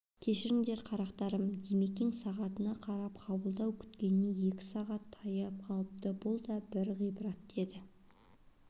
кешіріңдер қарақтарым димекең сағатына қарады қабылдау күткеніне екі сағатқа таяп қалыпты бұл да бір ғибрат деді